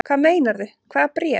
Hvað meinarðu. hvaða bréf?